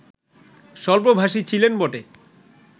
স্বল্পভাষী ছিলেন বটে